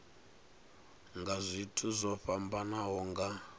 nga zwithu zwo fhambanaho nga